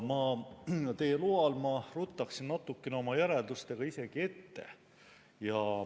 Ma teie loal ruttaksin natukene oma järeldustega isegi ette.